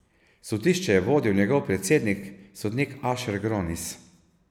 Sodišče je vodil njegov predsednik sodnik Ašer Gronis.